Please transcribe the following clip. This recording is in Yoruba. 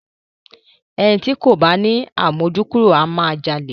Ẹni ti kò bá ni àmójúkúrò máa jalè.